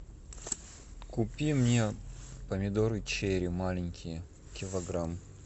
купи мне помидоры черри маленькие килограмм